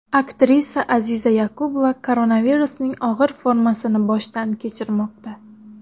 Aktrisa Aziza Yoqubova koronavirusning og‘ir formasini boshdan kechirmoqda.